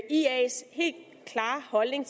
ias helt klare holdning